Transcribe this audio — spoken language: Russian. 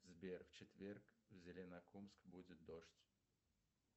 сбер в четверг в зеленокумск будет дождь